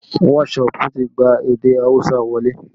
Wasaapu ti gba èdè àwúsá wọlé